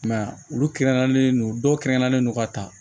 I m'a ye olu kɛrɛnkɛrɛnlen don dɔw kɛrɛnkɛrɛnnen don ka taa